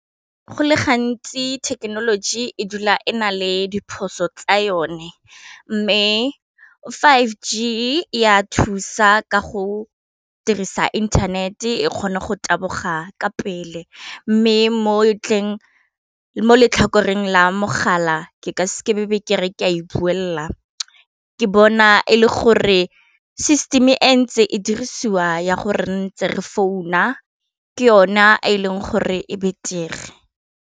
Go le gantsi thekenoloji e dula e na le diphoso tsa yone, mme five g e ya thusa ka go dirisa internet-e kgone go taboga ka pele mme mo letlhakoreng la mogala ke ka se ke be ke re ke a e buelela ke bona e le gore system e ntse e dirisiwa ya gore re ntse re founa ke yona e leng gore e betere.